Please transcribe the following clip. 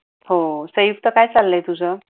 हो काय चाललंय तुझ?